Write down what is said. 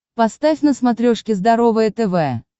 поставь на смотрешке здоровое тв